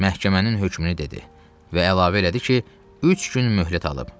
Məhkəmənin hökmünü dedi və əlavə elədi ki, üç gün möhlət alıb.